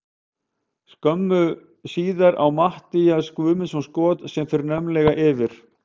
Skömmu síðar á Matthías Guðmundsson skot sem fer naumlega yfir.